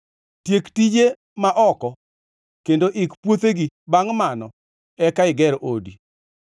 Tiek tijeni ma oko kendo ik puothegi; bangʼ mano, eka iger odi.